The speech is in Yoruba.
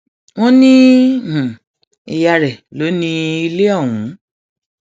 wọn ní ìyá rẹ lọ ní ilé ọhún